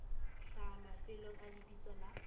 hlaha mafelong a lebitso la